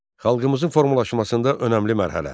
Xalqımızın formalaşmasında önəmli mərhələ.